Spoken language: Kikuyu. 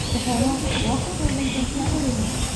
ũhoro, woka gwetha indo cia ũrĩmi?